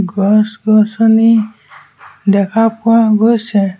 গছ গছনি দেখা পোৱা গৈছে।